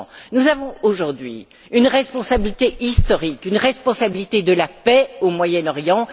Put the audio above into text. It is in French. Nous avons, aujourd'hui, une responsabilité historique, une responsabilité de la paix au Moyen Orient.